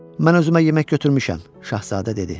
Mən özümə yemək götürmüşəm, Şahzadə dedi.